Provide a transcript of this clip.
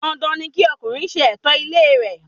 Dandan ni kí ọkùnrin ṣe ẹ̀tọ́ ilé re